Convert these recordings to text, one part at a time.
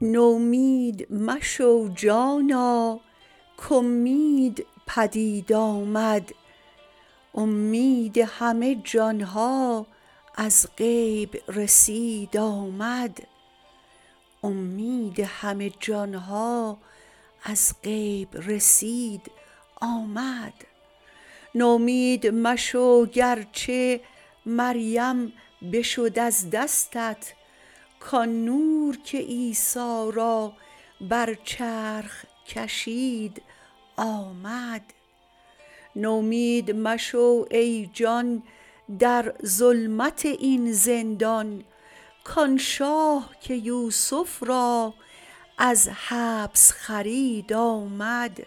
نومید مشو جانا کاومید پدید آمد اومید همه جان ها از غیب رسید آمد نومید مشو گر چه مریم بشد از دستت کآن نور که عیسی را بر چرخ کشید آمد نومید مشو ای جان در ظلمت این زندان کآن شاه که یوسف را از حبس خرید آمد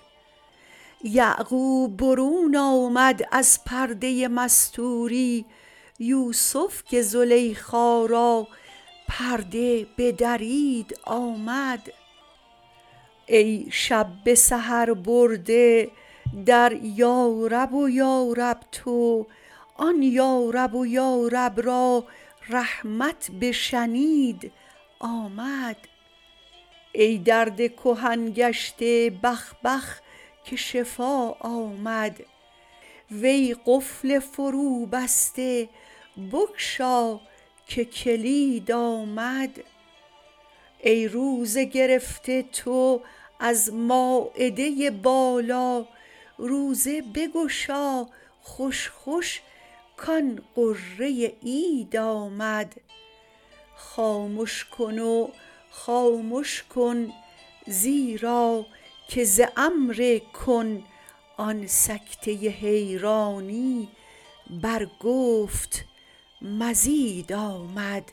یعقوب برون آمد از پرده مستوری یوسف که زلیخا را پرده بدرید آمد ای شب به سحر برده در یارب و یارب تو آن یارب و یارب را رحمت بشنید آمد ای درد کهن گشته بخ بخ که شفا آمد وی قفل فروبسته بگشا که کلید آمد ای روزه گرفته تو از مایده بالا روزه بگشا خوش خوش کآن غره عید آمد خامش کن و خامش کن زیرا که ز امر کن آن سکته حیرانی بر گفت مزید آمد